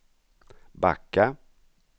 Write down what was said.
backa